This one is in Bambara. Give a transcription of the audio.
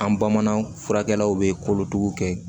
An bamanan furakɛlaw bɛ kolotuguw kɛ